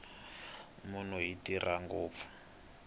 byongo bya munhu byi tirha ngopfu